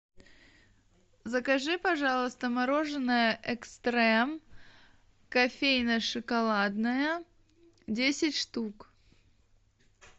закажи пожалуйста мороженое экстрем кофейно шоколадное десять штук